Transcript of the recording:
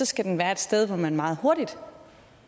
skal den være et sted hvor man meget hurtigt